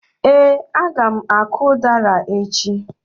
Ee, a ga m akụ udara echi.